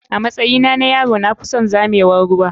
Amatsyina na yaro na fison zamewar ruwa.